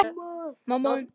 Ég er nýorðin hundrað ára.